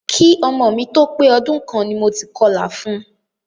Ki ọmọ mi tó pé ọdún kan ni mo ti kọlà fun.